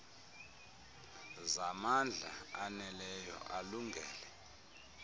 zamandla aneleyo alungele